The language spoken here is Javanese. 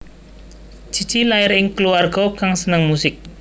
Cici lair ing kluwarga kang seneng musik